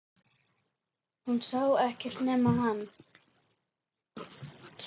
Hún sá ekkert nema hann!